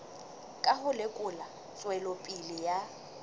ka ho lekola tswelopele ya